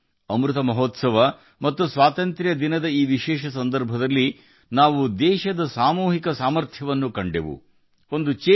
ಅಮೃತ ಮಹೋತ್ಸವ ಮತ್ತು ಸ್ವಾತಂತ್ರ್ಯ ದಿನಾಚರಣೆಯ ಈ ವಿಶೇಷ ಸಂದರ್ಭದಲ್ಲಿ ನಾವು ದೇಶದ ಸಾಮೂಹಿಕ ಶಕ್ತಿಯನ್ನು ನೋಡಿದ್ದೇವೆ